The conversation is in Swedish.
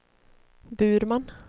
Burman